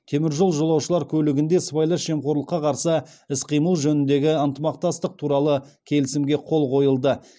теміржол жолаушылар көлігінде сыбайлас жемқорлыққа қарсы іс қимыл жөніндегі ынтымақтастық туралы келісімге қол қойылды